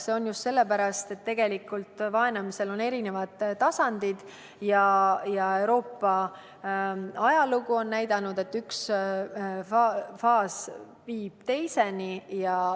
See on nii sellepärast, et vaenamisel on eri tasandid ja Euroopa ajalugu on näidanud, et üks faas viib teiseni.